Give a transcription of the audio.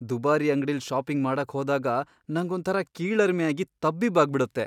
ದುಬಾರಿ ಅಂಗ್ಡಿಲ್ ಷಾಪಿಂಗ್ ಮಾಡಕ್ ಹೋದಾಗ ನಂಗೊಂಥರ ಕೀಳರಿಮೆ ಆಗಿ ತಬ್ಬಿಬ್ಬಾಗ್ಬಿಡತ್ತೆ.